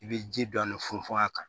I bɛ ji dɔɔni funfun a kan